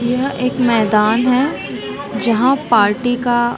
यह एक मैदान है जहाँ पार्टी का--